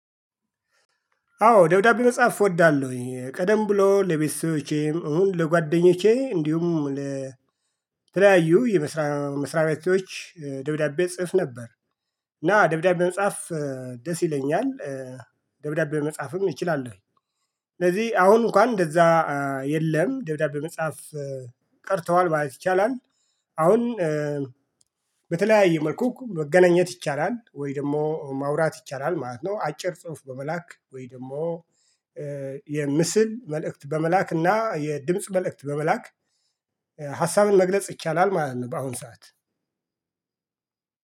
አዎ ደውዳቤ መጻፍ እወዳለሁኝ ቀደም ብሎ ለቤቶቼም እሁን ለጓደኞቼ እንዲሁም ለተለያዩ የመስሪያ መስሪያ ቤቶች ደብዳቤ እጽፍ ነበር። እና ደብዳቤ መጻፍ ደስ ይለኛል። ደብዳቤ መጻፍም ይችላለሁ። ስለዚህ አሁን እንኳን እንደዛ የለም ደብዳቤ መጻፍ ቀርተዋል ማለት ይቻላል። አሁን በተለያየ መልኩ መገናኘት ይቻላል ወይ ደግሞ ማውራት ይቻላል ማለት ነው። አጭር ጽሁፍ በመላክ ወይ ደግሞ የምስል መልእክት በመላክ እና የድምጽ መልእክት በመላክ ሀሳብን መግለጽ ይቻላል ማለት ነው። በአሁን ሰዓት